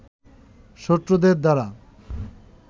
শত্রুদের দ্বারা